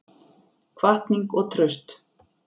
Hvatning og traust